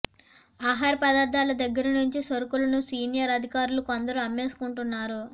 ఆహార పదార్ధాల దగ్గర నుంచి సరుకులను సీనియర్ అధికారులు కొందరు అమ్మేసుకుంటున్నారు